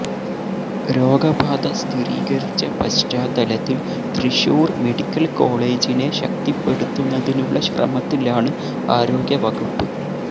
രോഗബാധ സ്ഥിരീകരിച്ച പശ്ചാത്തലത്തിൽ തൃശ്ശൂർ മെഡിക്കൽ കോളജിനെ ശക്തിപ്പെടുത്തുന്നതിനുള്ള ശ്രമത്തിലാണ് ആരോഗ്യ വകുപ്പ്